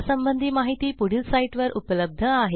यासंबंधी माहिती पुढील साईटवर उपलब्ध आहे